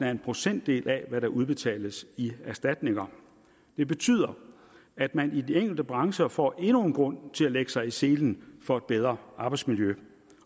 en procentdel af hvad der udbetales i erstatninger det betyder at man i de enkelte brancher får endnu en grund til at lægge sig i selen for et bedre arbejdsmiljø